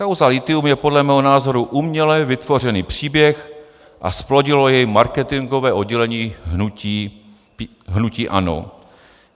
Kauza lithium je podle mého názoru uměle vytvořený příběh a zplodilo jej marketingové oddělení hnutí ANO.